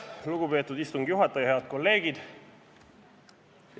Lugupeetud istungi juhataja, head kolleegid!